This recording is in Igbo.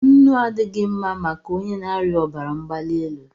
Nnu adịghị mma maka onye na-arịa obara mgbalielu